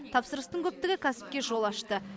тапсырыстың көптігі кәсіпке жол ашты